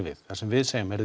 við það sem við segjum er